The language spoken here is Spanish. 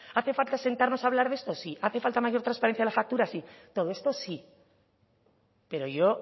hace falta sentarnos a hablar de esto sí hace falta mayor transparencia en la factura sí todo esto sí pero yo